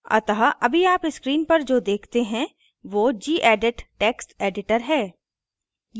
अतः अभी आप screen पर जो देखते हैं so gedit text editor है